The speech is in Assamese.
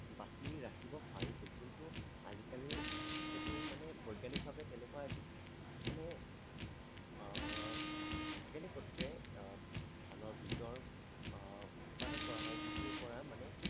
ৰাখিব পাৰিছিল অ কিন্তু আজি কালি সেইটো মানে বৈজ্ঞানিক ভাৱে তেনেকুৱা এবিধ মনে হয় আহ কেনে পদ্ধতিৰে ধানৰ বীজৰ আহ উৎপাদন কৰা হয় যিটো পৰা মানে